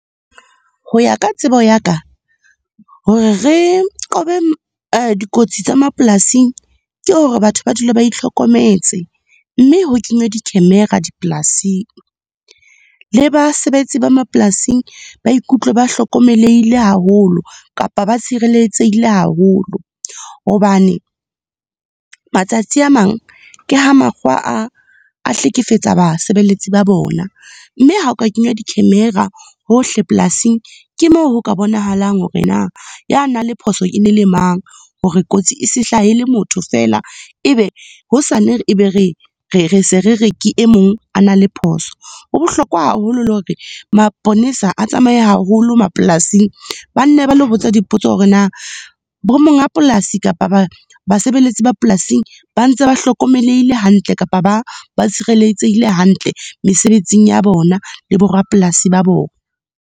Ho ya ka tsebo ya ka, hore re qobe dikotsi tsa mapolasing, ke hore batho ba dula ba itlhokometse, mme ho kenywe di-camera dipolasing. Le basebetsi ba mapolasing, ba ikutlwe ba hlokomelehile haholo kapa ba tshireletsehile haholo. Hobane, matsatsi a mang ke ha makgowa a hlekefetsa basebeletsi ba bona. Mme ha oka kenywa di-camera hohle polasing, ke moo ho ka bonahalang hore na a na le phoso e ne le mang, hore kotsi e se hlahele motho feela, e be hosane e be re, se re re, ke e mong a na le phoso. Ho bohlokwa haholo le hore, maponesa a tsamaye haholo mapolasing. Ba nne ba lo botsa dipotso hore na bo monga polasi kapa basebeletsi ba polasing ba ntse ba hlokomelehile hantle kapa ba tshireletsehile hantle mesebetsing ya bona le bo rapolasi ba bona.